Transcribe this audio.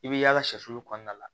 I bɛ yaala sɔli kɔnɔna la